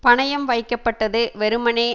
பணயம் வைக்கப்பட்டது வெறுமனே